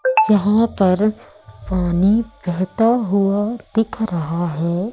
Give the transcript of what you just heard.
यहां पर पानी बेहता हुआ दिख रहा हैं।